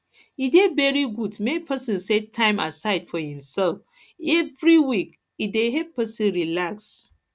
e dey very good make pesin set time aside for imself every week e dey help pesin relax